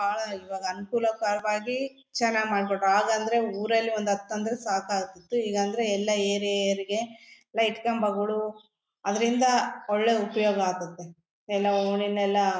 ಬಹಳ ಇವಾಗ ಅನುಕೂಲ ಕರವಾಗಿ ಚೆನ್ನಾಗ್ ಮಾಡ್ಕೊಟ್ರು ಆಗ ಅಂದ್ರೆ ಊರಲ್ಲಿ ಒಂದ್ ಹತ್ತ್ ಸಾಕಾಗ್ತಿತ್ತು ಈಗ್ ಅಂದ್ರೆ ಎಲ್ಲ ಏರಿಯಾ ಏರಿಯಾಗೆ ಲೈಟ್ ಕಂಬಗಳು ಅದರಿಂದ ಒಳ್ಳೆ ಉಪಯೋಗ ಆಗ್ತತ್ತೆ ಎಲ್ಲ ಓಣಿ ನೆಲ್ಲಾ --